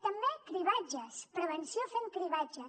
també cribratges prevenció fent cribratges